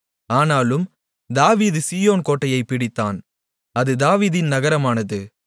ஆனாலும் தாவீது சீயோன் கோட்டையைப் பிடித்தான் அது தாவீதின் நகரமானது